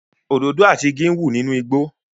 Òdòdó àti igi ń wù nínú igbó